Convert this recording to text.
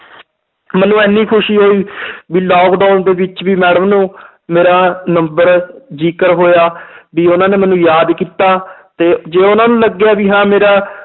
ਮੈਨੂੰ ਇੰਨੀ ਖ਼ੁਸ਼ੀ ਹੋਈ ਵੀ lockdown ਦੇ ਵਿੱਚ ਵੀ madam ਨੂੰ ਮੇਰਾ number ਜ਼ਿਕਰ ਹੋਇਆ ਵੀ ਉਹਨਾਂ ਨੇ ਮੈਨੂੰ ਯਾਦ ਕੀਤਾ ਤੇ ਜੇ ਉਹਨਾਂ ਨੂੰ ਲੱਗਿਆ ਵੀ ਹਾਂ ਮੇਰਾ